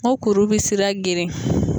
N ko kuru bɛ sira geren.